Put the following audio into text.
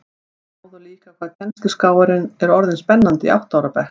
Sjáðu líka hvað kennsluskráin er orðin spennandi í átta ára bekk